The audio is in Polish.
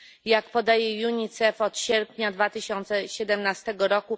Jak podaje UNICEF, od sierpnia 2017 r.